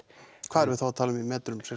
hvað erum við þá að tala um í metrum